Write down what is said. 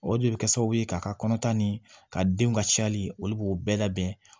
O de bɛ kɛ sababu ye ka ka kɔntan ni ka denw ka cayali olu b'o bɛɛ labɛn